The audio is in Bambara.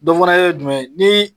Dɔ fɛnɛ ye jumɛn ye? Ni ...